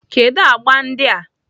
Kedu agba ndị a?